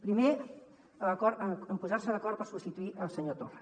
primer l’acord en posar se d’acord per substituir el senyor torra